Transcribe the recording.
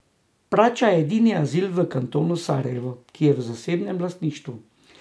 Prača je edini azil v kantonu Sarajevo, ki je v zasebnem lastništvu.